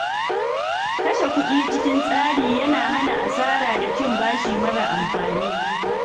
Kashe kuɗi cikin tsari yana hana asara da cin bashi mara amfani.